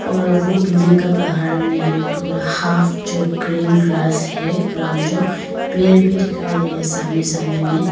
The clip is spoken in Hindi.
और वो बिल्डिंग का पहाड़ में है पूरा हाफ जो ग्रीन ग्रास है ग्राउंड जो पेड़ भी दिखाई दे रहा है सामने सामने में।